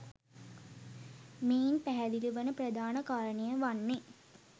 මෙයින් පැහැදිලි වන ප්‍රධාන කාරණය වන්නේ